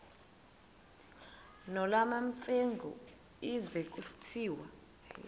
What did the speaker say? nolwamamfengu ize kusitiya